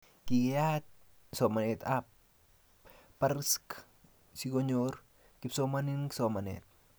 Kikeyat somanet ab barsk sikonyor kipsomaninik somanet